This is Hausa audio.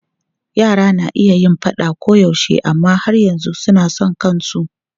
Yara na iya yin faɗa koyaushe amma har yanzu suna son kansu.